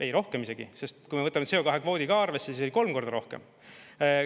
Ei, rohkem isegi, sest kui me võtame CO2 kvoodi ka arvesse, siis oli kolm korda rohkem.